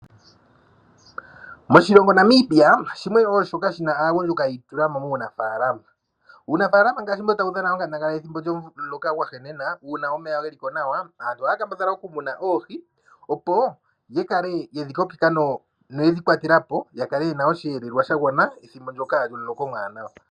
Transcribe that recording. Oshilongo Namibia shimwe wo shoka shina aagundjuka yi itula mo muunafaalama. Uunafaalama ngaashi mbo tawu dhana onkandangala yethimbo lyomuloka gwahenena, aantu ohaya kambadhala oku muna oohi, opo dhi kale yedhi kokeka noyedhi kwatela po, ya kale yena osheelelwa shagwana pethimbo ndoka lyomuloka omwaanawa.